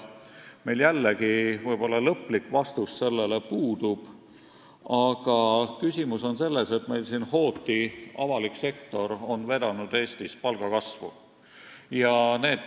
Meil võib-olla puudub lõplik vastus, aga küsimus on selles, et hooti on avalik sektor Eestis palgakasvu vedanud.